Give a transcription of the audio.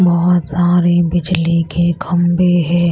बहुत सारे बिजली के खंबे हैं।